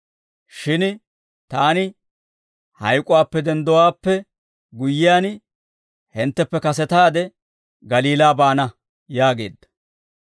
Shin taani hayk'uwaappe denddowaappe guyyiyaan, hintteppe kasetaade Galiilaa baana» yaageedda.